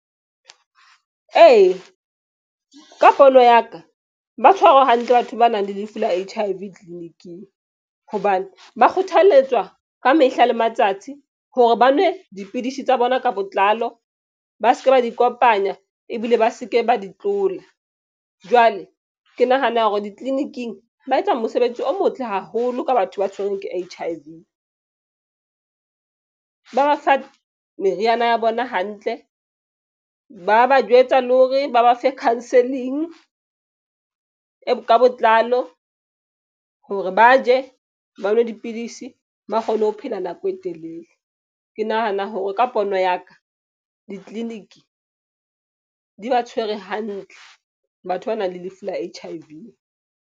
Eya, ka pono ya ka ba tshwarwa hantle batho ba nang le lefu la H_I_V tleliniking hobane ba kgothaletswa ka mehla le matsatsi hore ba nwe dipidisi tsa bona ka botlalo. Ba se ke ba di kopanya ebile ba se ke ba di tlola jwale. Ke nahana hore ditleliniking ba etsa mosebetsi o motle haholo ka batho ba tshwerweng ke H_I_V, ba ba fa meriana ya bona hantle ba ba jwetsa le hore ba ba fe counselling. E ka botlalo hore ba je ba nwe dipidisi ba kgone ho phela nako e telele. Ke nahana hore ka pono ya ka ditleliniki di ba tshwere hantle batho ba nang le lefu la H_I_V.